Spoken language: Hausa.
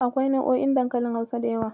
Akwai nau'o'in dankalin Hausa da yawa.